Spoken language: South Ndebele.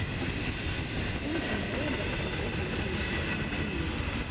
umvumo wenza izinto ezinengi emuntwini